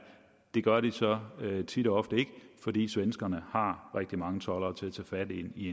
det gør de så tit og ofte ikke fordi svenskerne har rigtig mange toldere til at tage fat i